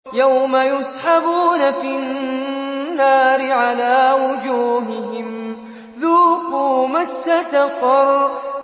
يَوْمَ يُسْحَبُونَ فِي النَّارِ عَلَىٰ وُجُوهِهِمْ ذُوقُوا مَسَّ سَقَرَ